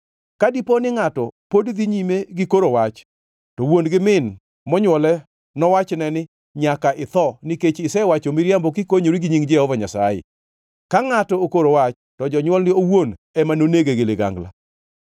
Ka dipo ni ngʼato pod dhi nyime gi koro wach, to wuon gi min monywole nowachne ni, ‘Nyaka itho, nikech isewacho miriambo kikonyori gi nying Jehova Nyasaye.’ Ka ngʼato okoro wach, to jonywolne owuon ema nonege gi ligangla.